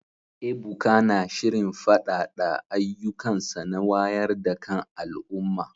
Ebuka na shirin faɗaɗa ayyukansa na wayar da kan al’umma